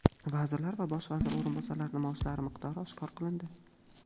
vazirlar va bosh vazir o‘rinbosarlarining maoshlari miqdori oshkor qilindi.